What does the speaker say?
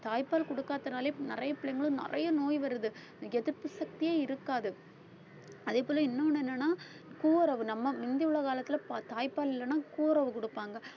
தாய்ப்பால் கொடுக்காதனாலே நிறைய பிள்ளைங்களுக்கு நிறைய நோய் வருது எதிர்ப்பு சக்தியே இருக்காது அதே போல இன்னொன்னு என்னன்னா கூரவு நம்ம முந்தியுள்ள காலத்துல தாய்ப்பால் இல்லன்னா கூரவு குடுப்பாங்க